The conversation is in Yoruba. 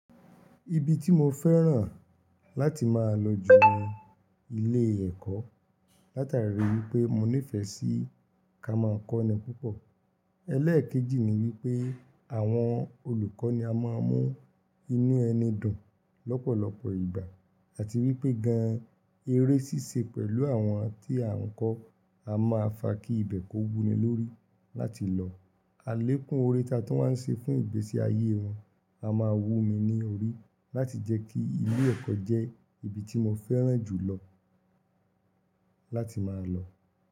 Ibi tí mo fẹ́ràn láti máa lọ jù ni ilé ẹ̀kọ́. Látari wípé mo nífẹ́ sí ká máa kọ́ni púpọ̀. Ẹlẹ́èkejì ni wípé àwọn olùkọ́ ni a máa ń mú inú ẹni dùn lọ́pọ̀lọpọ̀ ìgbà àti wípé gan-an eré ṣíṣe pẹ̀lú àwọn tí à ń kọ́ a máa fa kí ibẹ̀ kó wunni lórí láti lọ. Alẹ́kún ore ta tun wáa ń ṣe fún ìgbésí ayé wọn a máa wú mi ní orí láti jẹ́ kí ilé ẹ̀kọ́ jẹ́ ibi tí mo fẹ́ràn jù lọ láti máa lọ.